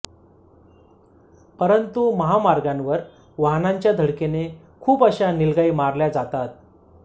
परंतु महामार्गांवर वाहनांच्या धडकेने खूपश्या नीलगाई मारल्या जातात